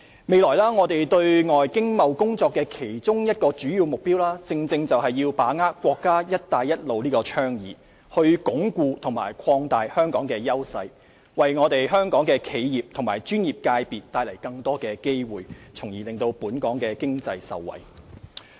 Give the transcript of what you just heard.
未來我們對外經貿工作的其中一個主要目標，正是要把握國家"一帶一路"倡議，鞏固和擴大香港的優勢，為香港的企業及專業界別帶來更多的機會，從而令本港經濟受惠。